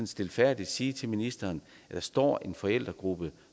stilfærdigt sige til ministeren at der står en forældregruppe